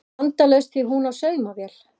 Vandalaust því hún á saumavél